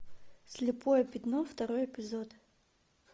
слепое пятно второй эпизод